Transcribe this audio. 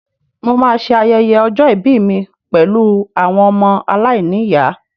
Mo máa ṣe ayẹyẹ ọjọ́ ìbí mi pẹ̀lú àwọn ọmọ aláìníyàá